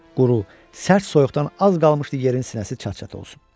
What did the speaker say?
Quru, sərt soyuqdan az qalmışdı yerin sinəsi çat-çat olsun.